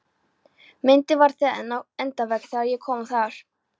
Myndin var þar enn á endavegg þegar ég kom þar